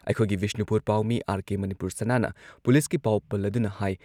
ꯑꯩꯈꯣꯏꯒꯤ ꯕꯤꯁꯅꯨꯄꯨꯔ ꯄꯥꯎꯃꯤ ꯑꯥꯔ.ꯀꯦ. ꯃꯅꯤꯄꯨꯔ ꯁꯅꯥꯅ ꯄꯨꯂꯤꯁꯀꯤ ꯄꯥꯎ ꯄꯜꯂꯗꯨꯅ ꯍꯥꯏ